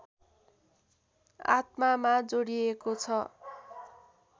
आत्मामा जोडिएको छ